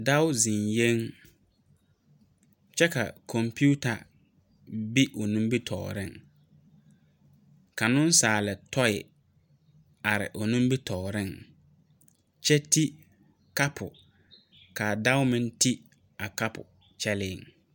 Dao zeŋɛ kyɛ ka konpiita be o nimitɔreŋ, ka nensaal toi are o nimitɔreŋ kyɛ ti kapo kaa Dao meŋ ti a kapo kyɛlɛ,